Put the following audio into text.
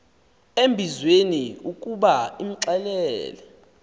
embizweni ukuba imxelele